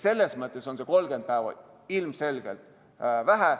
Selles mõttes on 30 päeva ilmselgelt vähe.